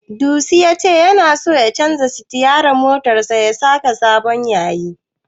Disu ya ce tana so ya canja sitiyarin motarsa ya saka sabon yayi.